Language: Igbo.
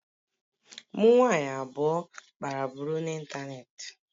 Mụ nwanyị abụọ kpara buru n'ịntanetị